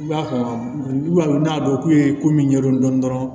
I b'a dɔn i b'a dɔn n'a dɔn k'u ye ko min ɲɛdɔn dɔrɔn